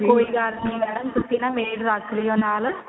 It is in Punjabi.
ਕੋਈ ਗੱਲ ਨਹੀਂ mam ਤੁਸੀਂ ਨਾ maid ਰੱਖ ਲਿਓ ਨਾਲ